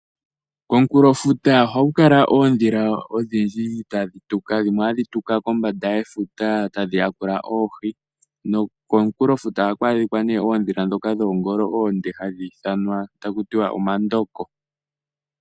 Komukunkulo futa ohaku kala oondhila odhindji tadhi tuka, dhimwe otadhi tuka kombanda yefuta tadhi yakula oohi. Komunkulofuta ohaku adhika oondhila ndhono dhina oongolo oonde hakutiwa omandoko.